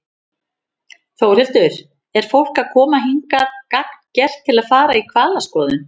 Þórhildur: Er fólk að koma hingað gagngert til að fara í hvalaskoðun?